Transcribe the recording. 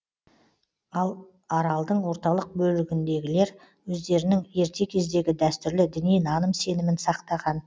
ал аралдың орталық бөлігіндегілер өздерінің ерте кездегі дәстүрлі діни наным сенімін сақтаған